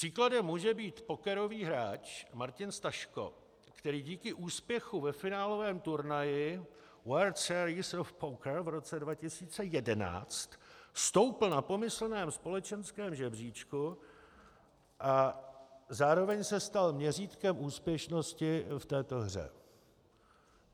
Příkladem může být pokerový hráč Martin Staszko, který díky úspěchu ve finálovém turnaji World Series of Poker v roce 2011 stoupl na pomyslném společenském žebříčku a zároveň se stal měřítkem úspěšnosti v této hře.